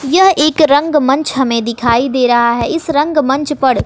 यह एक रंग मंच हमें दिखाई दे रहा है इस रंग मंच पर--